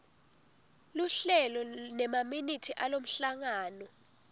luhlelo nemaminithi alomhlangano